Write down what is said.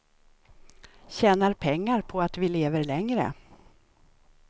Tjänar pengar på att vi lever längre.